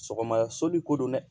Sɔgɔma soli ko don dɛ